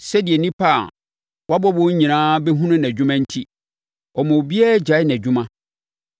Sɛdeɛ nnipa a wabɔ wɔn nyinaa bɛhunu nʼadwuma enti, ɔma obiara gyae nʼadwuma.